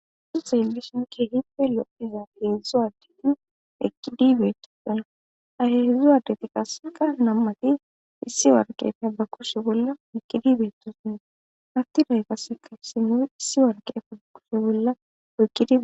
Uuso he ellishon keehippe loiza heedzdzu addeti ekidibeetto dana aheheedzdzu addeti qasseka nammati issi warqefe ba kushe bolla mikidi beettosne hatti day qasseka simoy issi warqeefe ba kushe bolla oykkidia